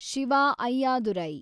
Shiva Ayyadurai